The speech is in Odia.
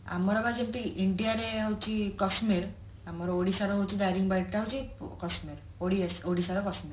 ଆମର ବା ଯଦି India ରେ ହଉଛି କଶ୍ମୀର ଆମର ଓଡିଶାରେ ହଉଛି ଦାରିଙ୍ଗିବାଡି ଟା ହଉଛି କଶ୍ମୀର ଓଡିଆ ଓଡିଶା ର କଶ୍ମୀର